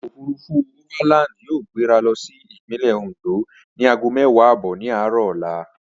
Ọkọ̀ òfurufú overland yóò gbéra lọ sí Ìpínlẹ̀ Oǹdó ni aago mẹ́wàá ààbọ̀ ní aárọ̀ ọla